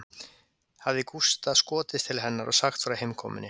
Hafði Gústa skotist til hennar og sagt frá heimkomunni